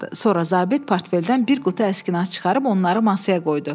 Sonra zabit portfeldən bir qutu əskinaz çıxarıb onları masaya qoydu.